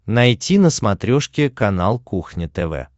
найти на смотрешке канал кухня тв